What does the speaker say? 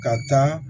Ka taa